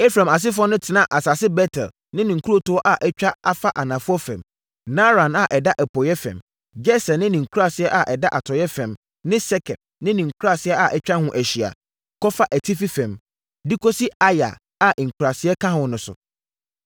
Efraim asefoɔ no tenaa asase Bet-El ne ne nkurotoɔ a atwa afa anafoɔ fam, Naaran a ɛda apueeɛ fam, Geser ne ne nkuraaseɛ a ɛda atɔeɛ fam ne Sekem ne ne nkuraaseɛ a atwa ho ahyia, kɔfa atifi fam, de kɔsi Aya a nkuraaseɛ ka ho no so.